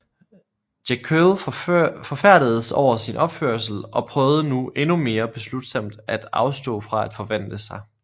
Jekyll forfærdedes over sin opførsel og prøvede nu endnu mere beslutsomt at afstå fra at forvandle sig